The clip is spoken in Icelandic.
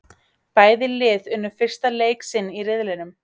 Bæði lið unnu fyrsta leik sinn í riðlinum.